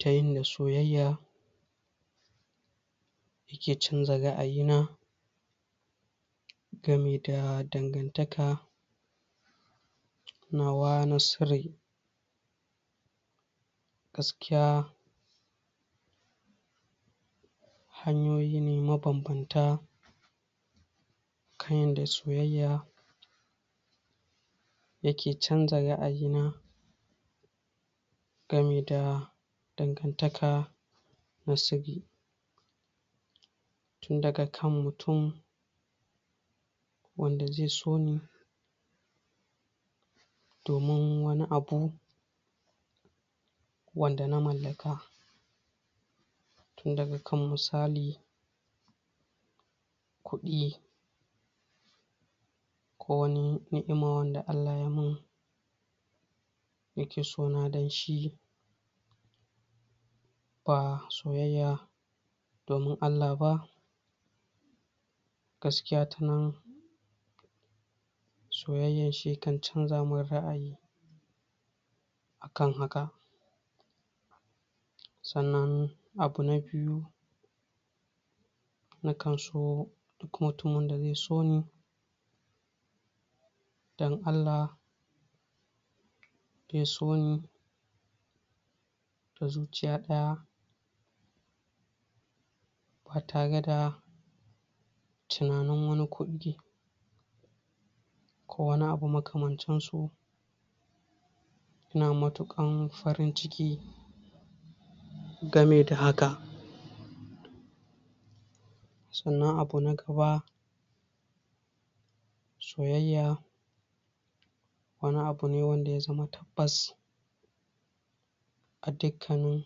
Ta yinda soyayya take canza ra'ayina gami da dangantaka nawa na sirri. Gaskiya hanyoyi ma banbanta kan yanda soyayya yake canza ra'ayina gami da dangantaka na sirri. Tunda ga kan mutum wanda zai soni domin wani abu wanda na mallaka Tun daga kan misali kuɗi ko wani ni'ima wadda Allah yamin, yake sona danshi ba soyayya domin Allah ba, Gaskiya tanan soyayyar shi yakan canzan ra'ayi akan haka sannan abu na biyu na kanso duk mutum wanda zai soni dan Allah zai soni da zuciya ɗaya, ba tare da tunanin wani kuɗi, ko wani abu makamancinsu. Ina matuƙan farin ciki gami da hakan sannan abu na gaba soyayya wani abu ne wanda ya zama tabbas a dukkanin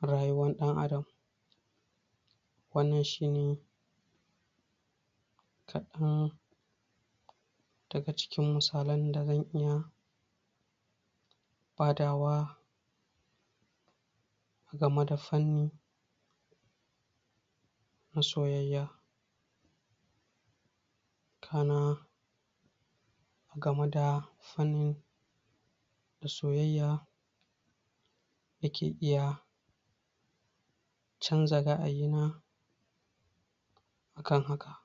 rayuwan ɗan adam. Wannan shine kaɗan daga cikin misalan da xan iya badawa a game da fanni na soyayya kana game da fanni na soyayya dake iya canza ra'ayina akan hakan.